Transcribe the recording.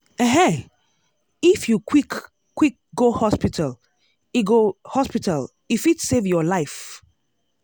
ehen! if you quick quick go hospital e go hospital e fit save your life.